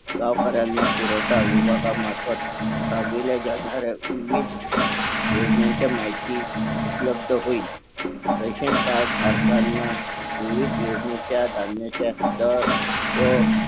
गावकर्यांनां पुरवठा विभागा मार्फत विविध योजनांचा माहिती उपलब्ध होईल रेशन कार्ड धारकांना विविध योजनेचा धान्याचा दर व